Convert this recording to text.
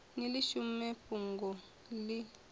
ni ḽi shumise fhungoni ḽi